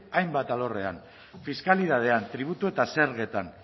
hainbat alorrean fiskalidadean tributu eta zergetan